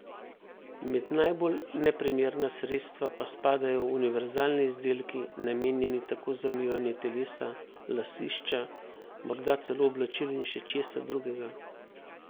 Med najbolj neprimerna sredstva pa spadajo univerzalni izdelki, namenjeni tako za umivanje telesa, lasišča, morda celo oblačil in še česa drugega.